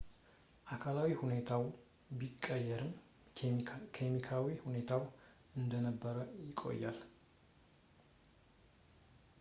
አካላዊ ሁኔታው ቢቀየርም ኬሚካዊ ሁኔታው እንደነበረ ይቆያል